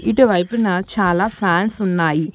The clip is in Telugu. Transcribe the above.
ఇటువైపునా చాలా ఫ్యాన్స్ ఉన్నాయి.